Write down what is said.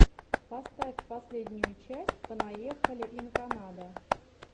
поставь последнюю часть понаехали ин канада